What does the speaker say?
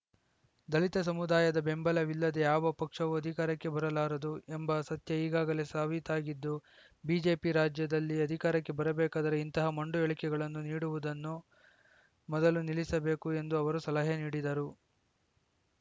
ದಲಿತ ಸಮುದಾಯದ ಬೆಂಬಲವಿಲ್ಲದೆ ಯಾವ ಪಕ್ಷವೂ ಅಧಿಕಾರಕ್ಕೆ ಬರಲಾರದು ಎಂಬ ಸತ್ಯ ಈಗಾಗಲೇ ಸಾಬೀತಾಗಿದ್ದು ಬಿಜೆಪಿ ರಾಜ್ಯದಲ್ಲಿ ಅಧಿಕಾರಕ್ಕೆ ಬರಬೇಕಾದರೆ ಇಂತಹ ಮೊಂಡು ಹೇಳಿಕೆಗಳನ್ನು ನೀಡುವುದನ್ನು ಮೊದಲು ನಿಲ್ಲಿಸಬೇಕು ಎಂದು ಅವರು ಸಲಹೆ ನೀಡಿದರು